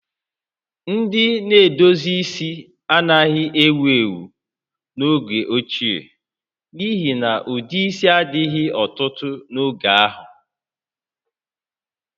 Ndị na-edozi isi anaghị ewu ewu n'oge ochie n'ihi na ụdị isi a dịghị ọtụtụ n'oge ahụ